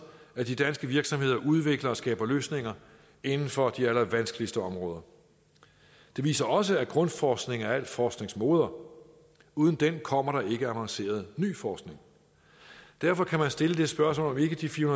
at de danske virksomheder udvikler og skaber løsninger inden for de allervanskeligste områder det viser også at grundforskning er al forsknings moder uden den kommer der ikke avanceret ny forskning derfor kan man stille det spørgsmål om ikke de fire